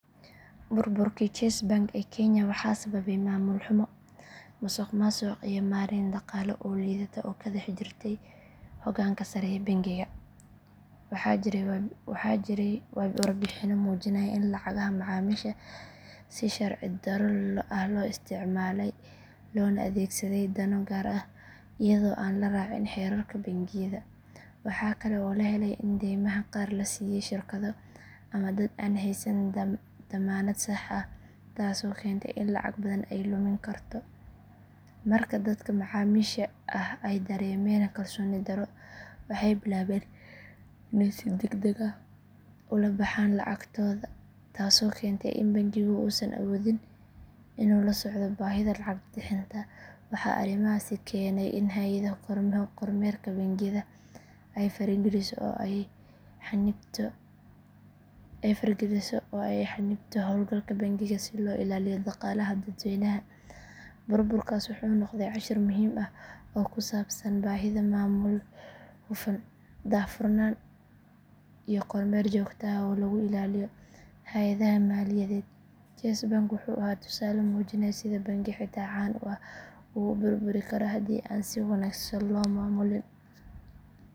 Burburkii chase bank ee kenya waxaa sababay maamul xumo, musuqmaasuq iyo maarayn dhaqaale oo liidata oo ka dhex jirtay hoggaanka sare ee bangiga. Waxaa jiray warbixinno muujinaya in lacagaha macaamiisha si sharci darro ah loo isticmaalay loona adeegsaday dano gaar ah iyadoo aan la raacin xeerarka bangiyada. Waxaa kale oo la helay in daymaha qaar la siiyay shirkado ama dad aan haysan dammaanad sax ah taasoo keentay in lacag badan ay lumin karto. Marka dadka macaamiisha ah ay dareemeen kalsooni darro waxay bilaabeen inay si degdeg ah u la baxaan lacagtooda taasoo keentay in bangigu uusan awoodin inuu la socdo baahida lacag bixinta. Waxaa arrimahaasi keenay in hay’adda kormeerka bangiyada ay farageliso oo ay xannibto howlgalka bangiga si loo ilaaliyo dhaqaalaha dadweynaha. Burburkaas wuxuu noqday cashar muhiim ah oo ku saabsan baahida maamul hufan, daahfurnaan iyo kormeer joogto ah oo lagu ilaaliyo hay’adaha maaliyadeed. Chase bank wuxuu ahaa tusaale muujinaya sida bangi xitaa caan ah uu u burburi karo haddii aan si wanaagsan loo maamulin.